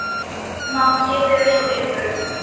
Má ég vera hjá ykkur?